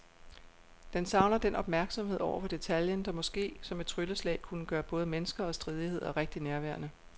Den savner den opmærksomhed over for detaljen, der måske som et trylleslag kunne gøre både mennesker og stridigheder rigtig nærværende.